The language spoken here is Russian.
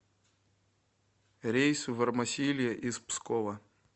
рейс в эрмосильо из пскова